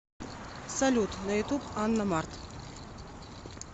салют на ютуб анна март